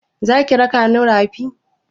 Za ki raka mu rafi?